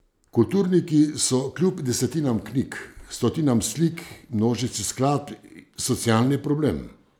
Kulturniki so kljub desetinam knjig, stotinam slik, množici skladb socialni problem.